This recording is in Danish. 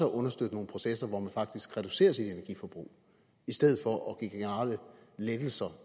understøtte nogle processer hvor man faktisk reducerer sit energiforbrug i stedet for at give generelle lettelser